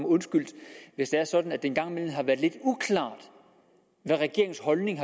undskyldt hvis det er sådan at det engang imellem har været lidt uklart hvad regeringens holdning